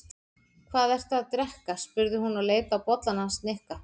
Hvað ertu að drekka? spurði hún og leit á bollann hans Nikka.